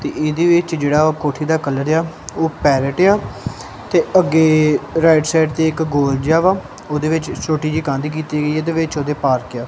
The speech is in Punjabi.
ਤੇ ਇਹਦੇ ਵਿੱਚ ਜਿਹੜਾ ਉਹ ਕੋਠੀ ਦਾ ਕਲਰ ਆ ਓਹ ਪੈਰੇਟ ਆ ਤੇ ਅੱਗੇ ਰਾਇਟ ਸਾਈਡ ਤੇ ਇੱਕ ਗੋਲ ਜਿਹਾ ਵਾ ਉਹਨਾਂ ਵਿੱਚ ਇੱਕ ਛੋਟੀ ਜਿਹੀ ਕੰਧ ਕੀਤੀ ਗਈ ਹੈ ਤੇ ਵਿੱਚ ਉਹਦੇ ਪਾਰਕ ਆ।